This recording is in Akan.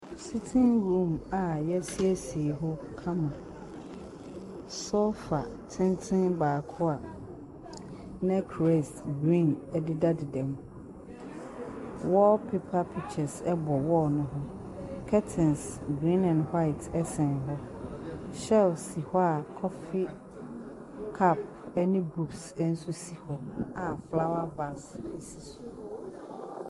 Sitting room a yɛsiesie hɔ kamaka. Sofa tenten baako a neckraise green dedadeam. Wallpaper pictures bɔ wall no ho. Curtain green and white ɛsɛn hɔ. Shells si hɔ koffie cups ne books nso si hɔ a flowers bags siso.